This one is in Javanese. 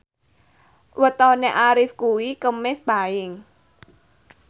wetone Arif kuwi Kemis Paing